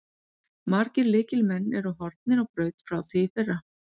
Margir lykilmenn eru horfnir á braut frá því í fyrra.